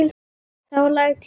Það læt ég vera